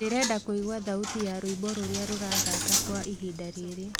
ndĩrenda kũĩgwa thaũtĩ ya rwĩmbo rũrĩa rurathaka kwa ĩhĩnda riri